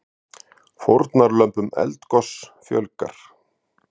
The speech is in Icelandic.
Fórnarlömbum eldgoss fjölgar